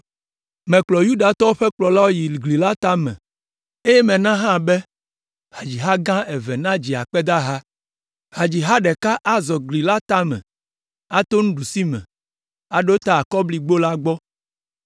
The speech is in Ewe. Mekplɔ Yudatɔwo ƒe kplɔlawo yi gli la tame, eye mena hã be hadziha gã eve nadzi akpedaha. Hadziha ɖeka azɔ gli la tame ato ɖusime aɖo ta Akɔligbo la gbɔ.